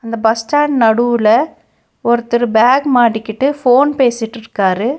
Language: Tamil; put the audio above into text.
அந்த பஸ் ஸ்டாண்ட் நடுவுல ஒருத்தர் பேக் மாட்டிக்கிட்டு ஃபோன் பேசிட்ருக்காரு.